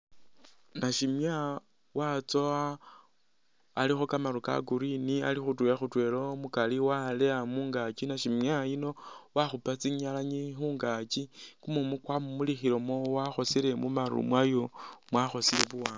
Nashimya watsowa alikho kamaru ka Green ali khutwela khutwela waleya mungaaki. Nashimya yuno wakhupa tsinyalanyi khungaaki, kumumu kwamumulikhilemu wakhosile mu maru mwayo.